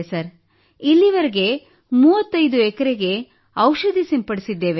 sir ಇಲ್ಲಿಯವರೆಗೆ 35 ಎಕರೆಗೆ ಔಷಧಿ ಸಿಂಪಡಿಸಿದ್ದೇವೆ